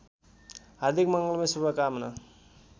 हार्दिक मङ्गलमय शुभकामना